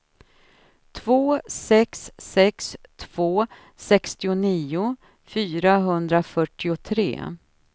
två sex sex två sextionio fyrahundrafyrtiotre